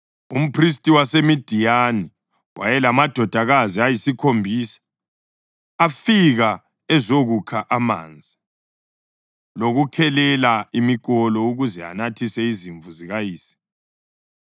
Umphristi waseMidiyani wayelamadodakazi ayisikhombisa, afika ezokukha amanzi lokukhelela imikolo ukuze anathise izimvu zikayise.